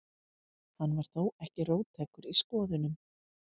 Hann var þó ekki róttækur í skoðunum.